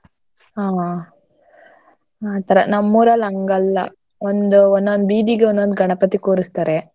ಹಾ ಆತರ ನಮ್ಮ್ ಊರಲ್ಲ್ ಹಂಗಲ್ಲ ಒಂದು ಒನ್ನೊಂದ್ ಬೀದಿಗೆ ಒಂದ್ ಒಂದ್ ಗಣಪತಿ ಕುರ್ಸ್ತಾರೆ.